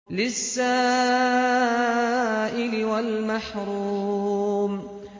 لِّلسَّائِلِ وَالْمَحْرُومِ